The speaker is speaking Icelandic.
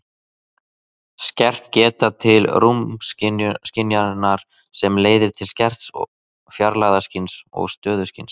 skert geta til rúmskynjunar sem leiðir til skerts fjarlægðarskyns og stöðuskyns